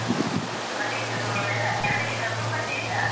ಮತ್ತೆ ಇದು ಎಲ್ಲ family ಕರ್ಕೊಂಡು ಬನ್ನಿ ಆಯ್ತಾ.